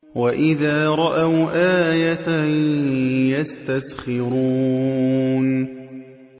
وَإِذَا رَأَوْا آيَةً يَسْتَسْخِرُونَ